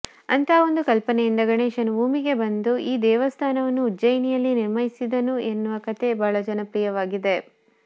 ಅಂತಹ ಒಂದು ಕಲ್ಪನೆಯಿಂದ ಗಣೇಶನು ಭೂಮಿಗೆ ಬಂದು ಈ ದೇವಸ್ಥಾನವನ್ನು ಉಜ್ಜಯಿಯಲ್ಲಿ ನಿರ್ಮಿಸಿದನು ಎನ್ನುವ ಕಥೆ ಬಹಳ ಜನಪ್ರಿಯವಾಗಿದೆ